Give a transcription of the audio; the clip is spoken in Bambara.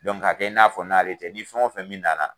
k'a kɛ i n'a fɔ n'ale tɛ ni fɛn o fɛn min nana,